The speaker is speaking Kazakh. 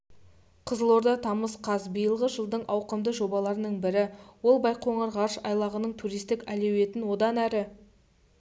қызылорда тамыз қаз биылғы жылдың ауқымды жобаларының бірі ол байқоңыр ғарыш айлағының туристік әлеуетін одан әрі